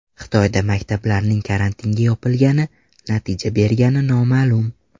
Xitoyda maktablarning karantinga yopilgani natija bergani noma’lum.